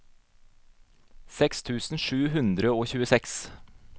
seks tusen sju hundre og tjueseks